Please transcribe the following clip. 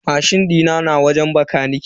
Mashin dina na wajen bakanike.